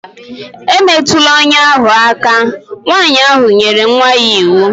E metụla ọnya ahụ aka!. Nwaanyị ahụ nyere nwa ya iwu